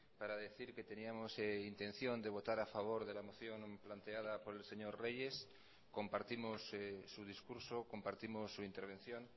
para decir que teníamos intención de votar a favor de la moción planteada por el señor reyes compartimos su discurso compartimos su intervención